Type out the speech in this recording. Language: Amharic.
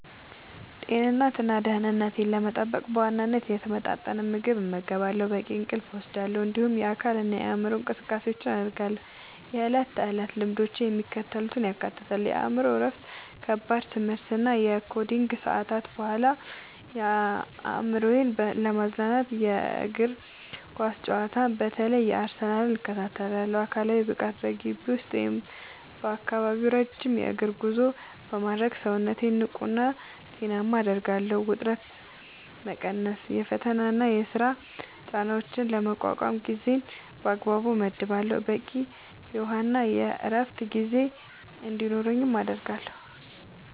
ጤንነቴንና ደህንነቴን ለመጠበቅ በዋናነት የተመጣጠነ ምግብ እመገባለሁ፣ በቂ እንቅልፍ እወስዳለሁ፣ እንዲሁም የአካልና የአእምሮ እንቅስቃሴዎችን አደርጋለሁ። የዕለት ተዕለት ልምዶቼ የሚከተሉትን ያካትታሉ፦ የአእምሮ እረፍት፦ ከከባድ የትምህርትና የኮዲንግ ሰዓታት በኋላ አእምሮዬን ለማዝናናት የእግር ኳስ ጨዋታዎችን (በተለይ የአርሰናልን) እከታተላለሁ። አካላዊ ብቃት፦ በግቢ ውስጥ ወይም በአካባቢው ረጅም የእግር ጉዞ በማድረግ ሰውነቴን ንቁና ጤናማ አደርጋለሁ። ውጥረት መቀነስ፦ የፈተናና የሥራ ጫናዎችን ለመቋቋም ጊዜን በአግባቡ እመድባለሁ፣ በቂ የውሃና የዕረፍት ጊዜ እንዲኖረኝም አደርጋለሁ።